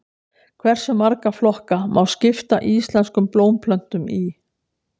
Hversu marga flokka má skipta íslenskum blómplöntum í?